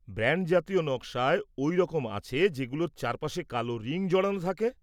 Band জাতীয় নকশায় ওই রকম আছে, যেগুলোর চারপাশে কালো রিং জড়ানো থাকে?